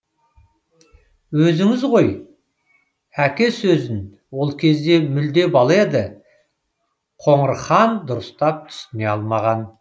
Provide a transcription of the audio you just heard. өзіңіз ғой әке сөзін ол кезде мүлде бала еді қоңырхан дұрыстап түсіне алмаған